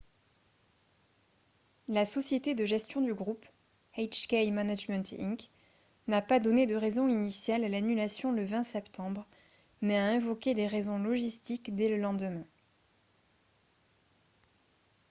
la société de gestion du groupe hk management inc n'a pas donné de raison initiale à l'annulation le 20 septembre mais a invoqué des raisons logistiques dès le lendemain